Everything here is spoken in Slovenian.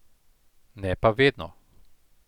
Ne pa vedno.